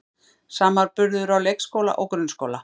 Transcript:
Samanburður á leikskóla og grunnskóla